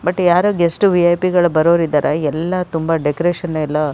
but ಯಾರೋ guest V I P ಗಳು ಬರೋರ್ ಇದ್ದಾರಾ ಎಲ್ಲ ತುಂಬ ಡೆಕೋರೇಷನ್ ಎಲ್ಲ--